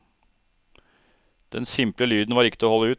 Den simple lyden var ikke til å holde ut.